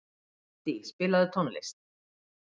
Randí, spilaðu tónlist.